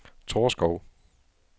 Torskov